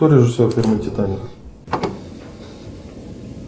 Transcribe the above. кто режиссер фильма титаник